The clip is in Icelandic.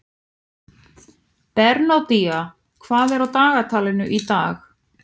Bernódía, hvað er á dagatalinu í dag?